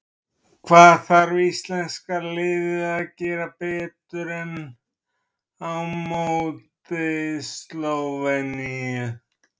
Hvað þarf íslenska liðið að gera betur en á móti Slóveníu?